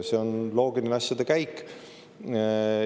See on loogiline asjade käik.